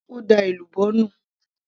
ó da èlùbọ́ nù